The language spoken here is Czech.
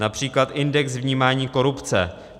Například index vnímání korupce.